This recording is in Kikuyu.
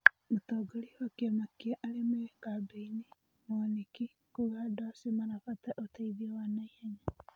Mũtongoria wa kĩama kĩa arĩa me kambĩ-inĩ , Mwanĩki, kuuga andũacio marabatara ũteithio wa naihenya